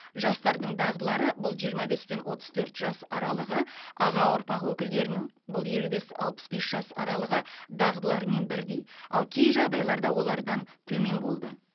жастардың дағдылары бұл жиырма бес пен отыз төрт жас аралығы аға ұрпақ өкілдерінің бұл елу бес алпыс бес жас аралығы дағдыларымен бірдей ал кей жағдайларда олардан төмен болды